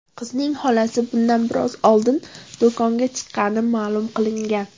Qizning xolasi bundan biroz oldin do‘konga chiqqani ma’lum qilingan.